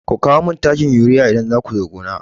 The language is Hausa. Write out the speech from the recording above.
Ku kawo min takin urea idan za ku zo gona!